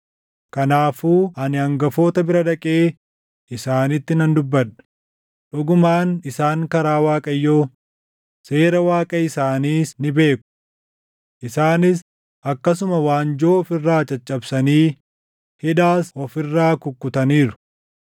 Kanaafuu ani hangafoota bira dhaqee isaanitti nan dubbadha; dhugumaan isaan karaa Waaqayyoo, seera Waaqa isaanis ni beeku.” Isaanis akkasuma waanjoo of irraa caccabsanii hidhaas of irraa kukkutaniiru.